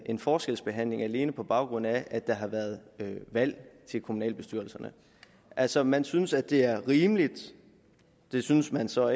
en forskelsbehandling alene på baggrund af at der har været valg til kommunalbestyrelserne altså man synes at det er rimeligt det syntes man så